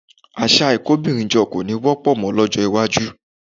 Àṣà ìkóbìnrinjọ kò ní wọ́pọ̀ mọ́ lọ́jọ́ iwájú